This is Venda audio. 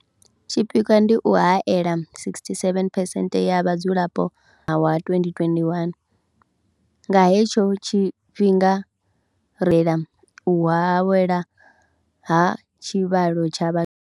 Tshipikwa ndi u haela 67 percent ya vhadzulapo wa 2021. Nga he tsho tshifhinga ri u haelwa ha tshivhalo tsha vhathu.